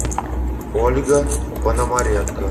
ольга пономаренко